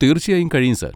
തീർച്ചയായും കഴിയും സാർ.